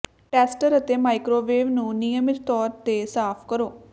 tester ਅਤੇ microwave ਨੂੰ ਨਿਯਮਿਤ ਤੌਰ ਤੇ ਸਾਫ਼ ਕਰੋ